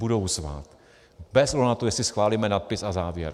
Budou zvát - bez ohledu na to, jestli schválíme nadpis a závěr.